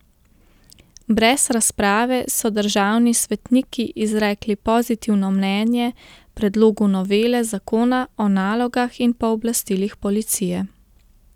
Brez razprave so državni svetniki izrekli pozitivno mnenje predlogu novele zakona o nalogah in pooblastilih policije.